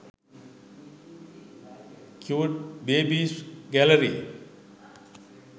cute babies gallary